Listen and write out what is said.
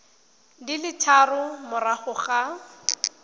di le tharo morago ga